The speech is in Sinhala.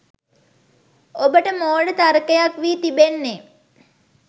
ඔබට මෝඩ තර්කයක් වී තිබෙන්නේ